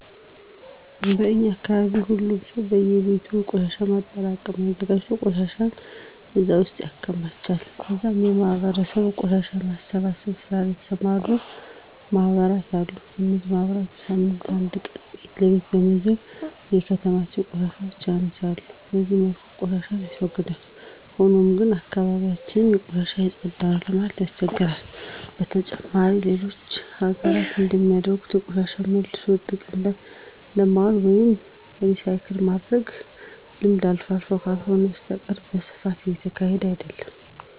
በእኛ አካባቢ ሁሉም ሰው በእየቤቱ የቆሻሻ ማጠራቀሚያ አዘጋጅቶ ቆሻሻውን እዛ ውስጥ ያከማቻል ከዛም በማህበረሰባችን ቆሻሻን በመሰብሰብ ስራ ላይ የተሰማሩ ማህበራት አሉ። እነዚህ ማህበራት በሳምንት አንድ ቀን ቤት ለቤት በመዞር የተከማቹ ቆሻሻዎችን ያነሳሉ። በዚህ መልኩ ቆሻሻን ያስወግዳል። ሆኖም ግን አካባቢ ያችን ከቆሻሻ የፀዳ ነው ለማለት ያስቸግራል። በተጨማሪም በሌሎች ሀገራት እንደሚደረገው ቆሻሻን መልሶ ጥቅም ላይ የማዋል ወይም ሪሳይክል የማድረግ ልምድ አልፎ አልፎ ካልሆነ በስተቀረ በስፋት እየተሰራበት አይደለም።